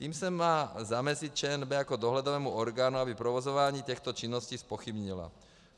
Tím se má zamezit ČNB jako dohledovému orgánu, aby provozování těchto činností zpochybnila.